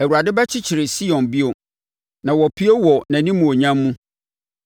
Awurade bɛkyekyere Sion bio, na wapue wɔ nʼanimuonyam mu.